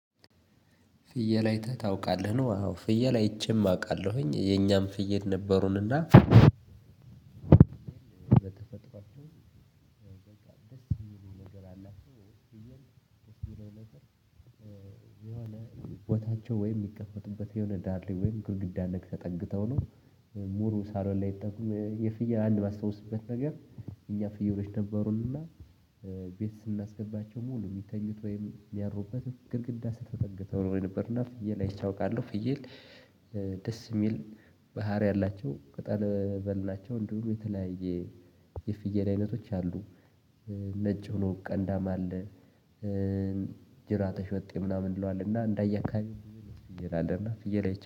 ፍየል አይተህ ታውቃለህ ነው ፍየል አይቼም አውቃለሁኝ የኛም ፍየል ነበሩን እና በተፈጥሯችው በቃ ደስ የሚሉ ነገር አላቸው ቦታቸው ወይም የሚቀፈቱበት የሆነ ዳር ላይ ወይም ግድግዳ ነገር ተጠግተው ነው። ሙሉ ሳሎን ላይ። የፍያል አንድ የማስታወስበት ነገር። እኛ ፍየሎች ነበሩንና ቤት ስናስገባቸው ሙሉ የሚተኙት ወይም የሚያድሩበት ግድግዳ ስር ተጠግተው ነው። የነበር እና ፍየል አይቼ አውቃለሁ እና ፍየል። ደስ የሚል ባህሪ አላቸው ቅጣል በል ናቸው። እንዲሁም የተለያየ የፍየል አይነቶች አሉ። ነጭ ሆኖ ቀንዳም አለ። ጅራተ ሾጤ ምናምን የምንለው አለ እና እንደየአካባቢው ብዙ አይነት ፍየል አለ። እና ፍየል አይቼ